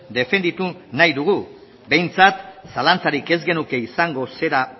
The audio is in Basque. defenditu nahi dugu behintzat zalantzarik ez genuke izango zera